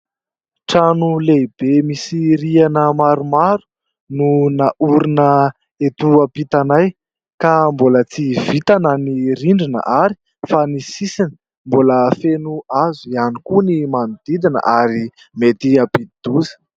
Trano lehibe misy rihana maromaro no naorina eto am-pitanay ka mbola tsy vita na ny rindrina ary fa ny sisiny ; mbola feno hazo ihany koa ny manodidina ary mety hampidi-doza.